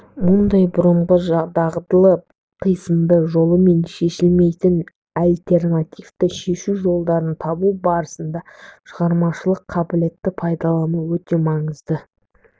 мұндайда бұрынғы дағдылы қисынды жолымен шешілмейтін альтернативті шешу жолдарын табу барысында шығармашылық қабілетті пайдалану өте маңызды